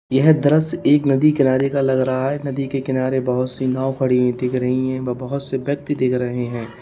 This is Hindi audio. यह दृश्य एक नदी किनारे का लग रहा है नदी के किनारे बहोत सी नाव पड़ी हुई दिख रही है व बहोत से व्यक्ति दिख रहे हैं।